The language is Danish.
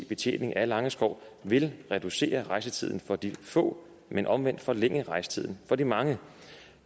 betjening af langeskov vil reducere rejsetiden for de få men omvendt forlænge rejsetiden for de mange